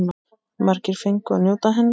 Margir fengu að njóta hennar.